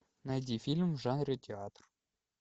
найди фильм в жанре театр